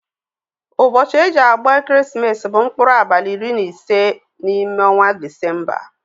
Ụbosi eji agba ekeresimesi bu nkpụrụ abali iri na ise na ime ọnwa disemba.